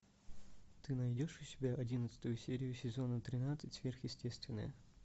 ты найдешь у себя одиннадцатую серию сезона тринадцать сверхъестественное